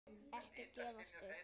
Ekki gefast upp!